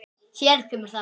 Hér kemur það.